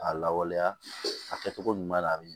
A lawaleya a kɛcogo ɲuman na a bɛ